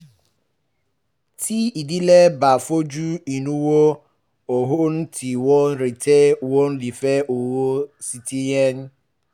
tí ìdílé bá fojú inú wo ohun tí wọ́n retí wọ́n lè fi owó ṣètìlẹ̀yìn